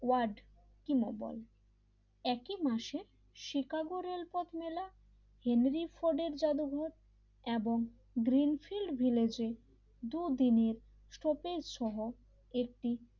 add কিমাবল একই মাসে শিকাগোর রেলপথ মেলা হেনরি ফোর্ট এর জাদুঘর এবং গ্রীন ফিল্ড ভিলেজে দুদিন শরতের সহ একটি